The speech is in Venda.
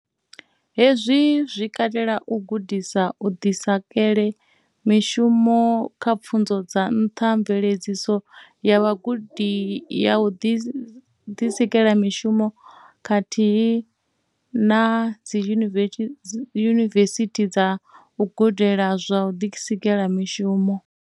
He zwi zwi katela u gudisa u ḓisikela mishumo na kha pfunzo dza nṱha, mveledziso ya vhagudi ya u ḓisikela mishumo khathihi na dziyunivesithi dza u gudela zwa u ḓisikela mishumo.